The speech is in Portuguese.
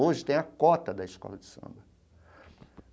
Hoje tem a cota da escola de samba.